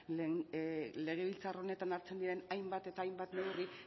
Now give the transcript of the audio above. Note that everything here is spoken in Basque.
legebiltzar honetan hartzen diren hainbat eta hainbat neurri